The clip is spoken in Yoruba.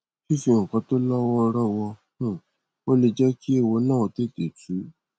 fífi nǹkan tó lọ wọọrọ wọ um ọ lè jẹ kí ééwo ń ó tètè tú